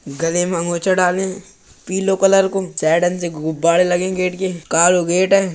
गले मे अंगोछा डाले है पिलो कलर को। साइडन ते गुब्बारे लगे हैं गेट पे । कालो गेट है।